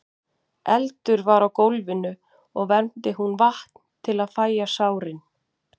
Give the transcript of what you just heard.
Eldur var á gólfinu og vermdi hún vatn til að fægja sárin.